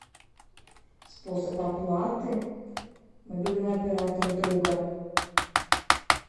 способ оплаты мобильного оператора друга